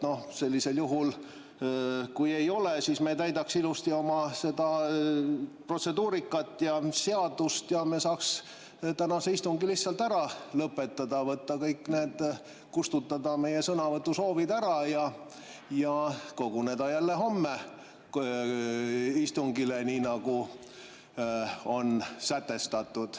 Sellisel juhul kui ei ole, siis me täidaks ilusti oma protseduurikat ja seadust ning me saaks tänase istungi lihtsalt ära lõpetada, kustutada meie sõnavõtusoovid ära ja koguneda jälle homme istungile, nii nagu on sätestatud.